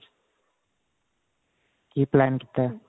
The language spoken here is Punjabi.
ਕੀ plan ਕੀਤਾ